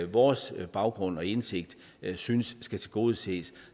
vores baggrund og indsigt synes skal tilgodeses